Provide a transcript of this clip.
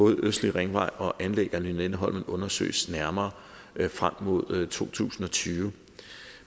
østlig ringvej og anlæg af lynetteholm undersøges nærmere frem mod to tusind og tyve